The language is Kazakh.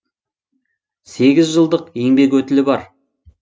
сегіз жылдық еңбек өтілі бар